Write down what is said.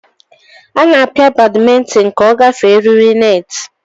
Ana apia badmintin ka ogafee eriri net.